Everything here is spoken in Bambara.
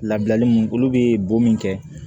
Labilali mun olu bɛ bon min kɛ